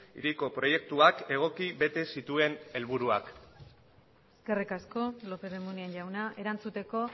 hiriko proiektuak egoki bete ez zituen helburuak eskerrik asko lópez de munain jauna erantzuteko